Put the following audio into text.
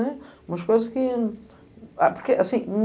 Umas coisas que...